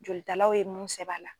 Jolitalaw ye mun sɛbɛn a la.